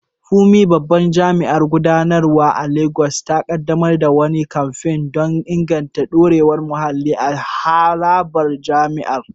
Funmi, babban jami’in gudanarwa a Legas, ta kaddamar da wani kamfen don inganta dorewar muhalli a harabar jami’ar.